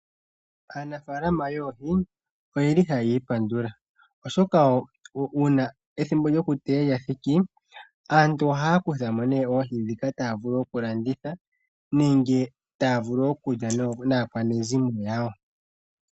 Aanafalama yoohi oye li ha yiipandula oshoka uuna ethimbo lyokuteya lya thiki aantu ohaya kuthamo nee oohi ndhika taya vulu okulanditha nenge taya vulu okulya naakwanezimo yawo.